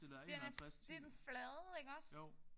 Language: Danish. Den er det den flade iggås?